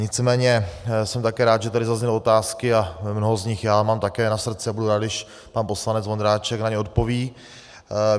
Nicméně jsem také rád, že tady zazněly otázky - a mnoho z nich já mám také na srdci a budu rád, když pan poslanec Vondráček na ně odpoví.